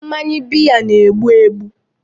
Mmanya beer na-egbu egbu